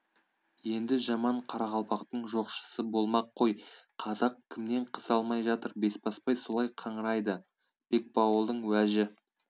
енді жаман қарақалпақтың жоқшысы болмақ қой қазақ кімнен қыз алмай жатыр бесбасбай солай қыңырайды бекбауылдың уәжі